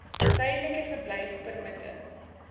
tydelike verblyfpermitte